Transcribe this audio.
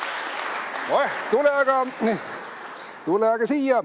Oeh, tule aga siia!